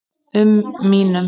um mínum.